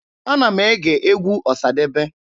Ana m ege egwu Ọsadebe.